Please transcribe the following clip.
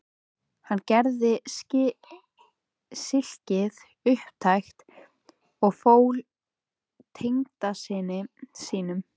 Hann gerði silkið upptækt og fól tengdasyni sínum